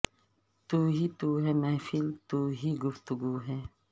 تو ہی تو ہے محفل تو ہی گفتگو ہے